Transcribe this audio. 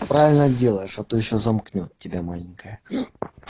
правильно делаешь а то ещё замкнёт тебя маленькая